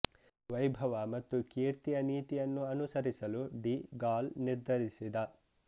ವೈಭವ ಮತ್ತು ಕೀರ್ತಿಯ ನೀತಿಯನ್ನು ಅನುಸರಿಸಲು ಡಿ ಗಾಲ್ ನಿರ್ಧರಿಸಿದ